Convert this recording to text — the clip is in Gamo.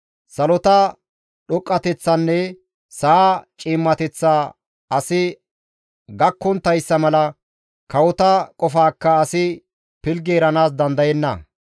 Salota dhoqqateththanne sa7a ciimmateththa asi gakkonttayssa mala, kawota qofaakka asi pilggi eranaas dandayenna.